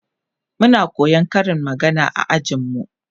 Muna koyan Karin magana a ajin mu